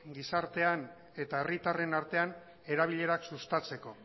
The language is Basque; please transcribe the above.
gizartean eta herritarren artean erabilerak sustatzeko